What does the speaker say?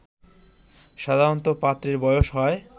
সাধারণত পাত্রের বয়স হয়